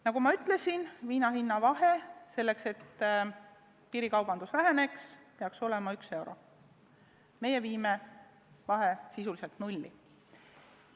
Nagu ma ütlesin, selleks, et piirikaubandus väheneks, peaks vahe olema 1 euro, meie viime vahe sisuliselt nulli.